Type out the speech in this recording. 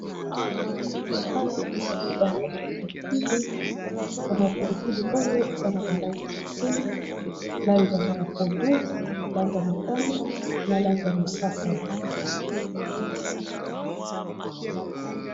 awa ezali bambuma ya pilipili mbuma y pilipili oyo eza na balange kesele langama ya pondu langamotano na langamosaka